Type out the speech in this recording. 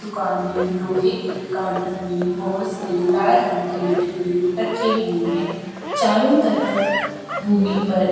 दुकान में लोहे के काउन्टर में बहोत से लाल रंग के डिब्बे रखे हुए हैं। चारों तरफ भूमि पर --